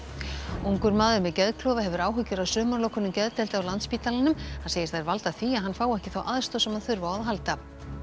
ungur maður með geðklofa hefur áhyggjur af sumarlokunum geðdeilda á Landspítalanum hann segir þær valda því að hann fái ekki þá aðstoð sem hann þurfi á að halda